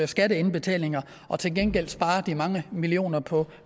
skatteindbetalinger og til gengæld spare de mange millioner på